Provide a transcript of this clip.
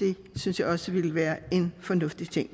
det synes jeg også ville være en fornuftig ting